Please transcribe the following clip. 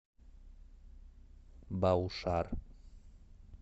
баушар